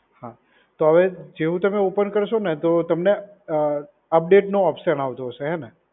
હા, તો હવે જેવું તમે ઓપન કરશો ને તો તમને અ અપડેટ નો ઓપ્શન આવતું હશે હે ને?